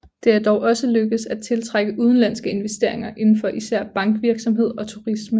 Det er dog også lykkedes at tiltrække udenlandske investeringer inden for især bankvirksomhed og turisme